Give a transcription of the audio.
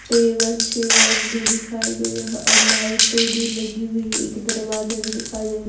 table chair भी दिखाई दे रहा है और लाइटें भी लगी हुई एक दरवाजा भी दिखाई दे --